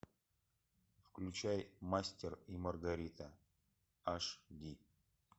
включай мастер и маргарита аш ди